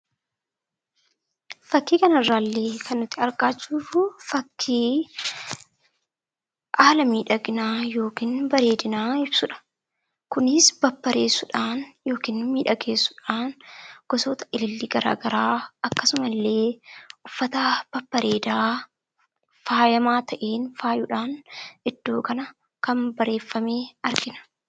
Fakkii kanarraa kan nuti arginu haala miidhaginaa yookiin bareedinaa ibsudha. Kunis babbareechuudhaan yookiin miidhagsuudhaan gosoota ilillii garaagaraa akkasumallee uffata babbareedaa faayamaa ta'een faayuudhaan iddoo kana miidhagfame argina.